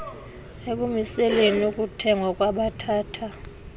ekumiseleni ukuthengwa kwabathatha